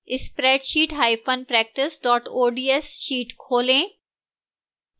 spreadsheetpractice ods sheet खोलें